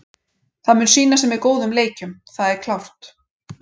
Það mun sýna sig með góðum leikjum, það er klárt.